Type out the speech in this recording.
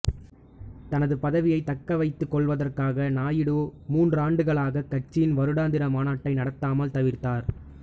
தனது பதவியைத் தக்க வைத்துக் கொள்வதற்காக நாயுடு மூன்றாண்டுகளாகக் கட்சியின் வருடாந்திர மாநாட்டை நடத்தாமல் தவிர்த்தார்